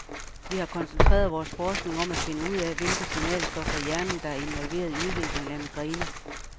Vi har koncentreret vores forskning om at finde ud af, hvilke signalstoffer i hjernen, der er involveret i udviklingen af migræne.